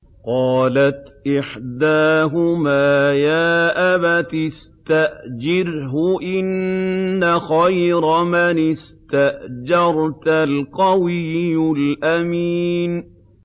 قَالَتْ إِحْدَاهُمَا يَا أَبَتِ اسْتَأْجِرْهُ ۖ إِنَّ خَيْرَ مَنِ اسْتَأْجَرْتَ الْقَوِيُّ الْأَمِينُ